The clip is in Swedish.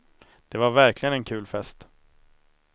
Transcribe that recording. Det var verkligen en kul fest.